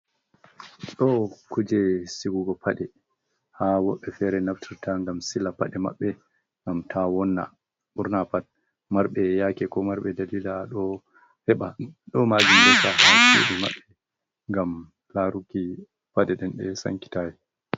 Ɗo kuje sigugo paɗe ha woɓɓe fere naftirta ngam sila paɗe maɓɓe ngam ta wonna ɓurna pat marɓe yake ko marɓe dalila ɗo heɓa ɗo majindeta haseji maɓɓe ngam laruki pade ɗen e sankitawi.